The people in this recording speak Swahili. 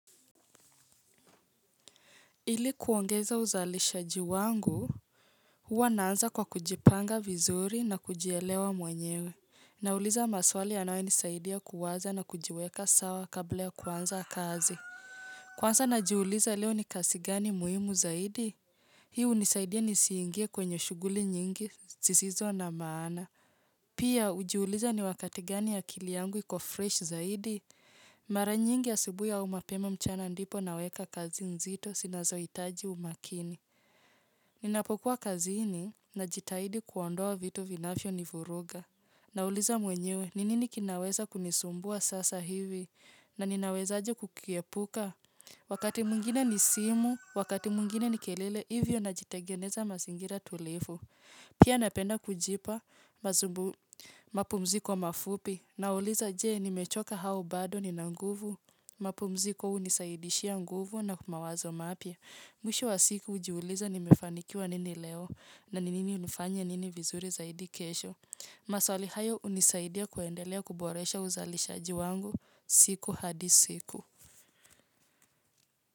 Ili kuongeza uzalishaji wangu, huwa naanza kwa kujipanga vizuri na kujielewa mwenyewe. Nauliza maswali yanayo nisaidia kuwaza na kujiweka sawa kabla ya kwanza kazi. Kwanza najiuliza leo ni kazi gani muhimu zaidi? Hii hunisaidia nisiingie kwenye shughuli nyingi zisizo na maana. Pia hujiuliza ni wakati gani akili yangu iko fresh zaidi? Mara nyingi asubuhi au mapema mchana ndipo naweka kazi nzito zinazohitaji umakini. Ninapokuwa kazi najitahidi kuondoa vitu vinavyo nivuruga. Nauliza mwenyewe, ni nini kinaweza kunisumbua sasa hivi na ninawezaje kukiepuka. Wakati mwingine ni simu, wakati mwingine ni kelele, hivyo najitengeneza mazingira tulivu. Pia napenda kujipa, mazubu, mapumziko mafupi, nauliza je nimechoka au bado nina nguvu, mapumziko unisaidishia nguvu na mawazo mapya. Mwisho wa siku ujiuliza nimefanikiwa nini leo na ni nini nifanye nini vizuri zaidi kesho. Maswali hayo unisaidia kuendelea kuboresha uzalishaji wangu siku hadi siku.